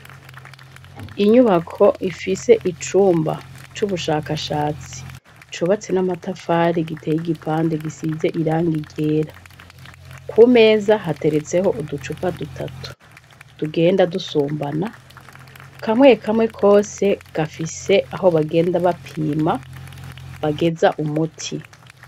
Inyubako ifise icumba c'ubushakashatsi cubatse n'amatafari giteye igipande, gisize irangi ryera. Ku meza hateretseho uducupa dutatu ,tugenda dusumbana, kamwe kamwe kose gafise aho bagenda bapima bageza umuti.